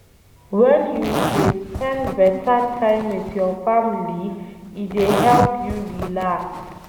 wen you dey spend beta time with your family, e dey help you relax